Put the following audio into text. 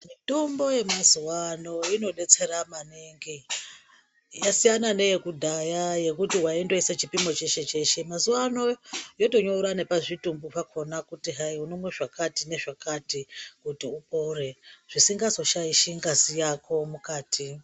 Mitombo yemazuva ano inodetsere maningi ,yasiyana neyekudhaya yekuti waindoisa chipimo cheshe cheshe ,mazuva ano yotonyora nepazvitimbu pakona kuti hai unomwa zvakati nezvakati kuti upore zvisingazoshaishi ngazi yako mukati.